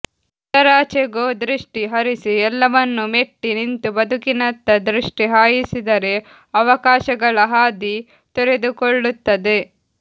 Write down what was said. ಅದರಾಚೆಗೂದೃಷ್ಟಿ ಹರಿಸಿ ಎಲ್ಲವನ್ನೂ ಮೆಟ್ಟಿ ನಿಂತು ಬದುಕಿನತ್ತದೃಷ್ಟಿ ಹಾಯಿಸಿದರೆ ಅವಕಾಶಗಳ ಹಾದಿ ತೆರೆದುಕೊಳ್ಳುತ್ತದೆ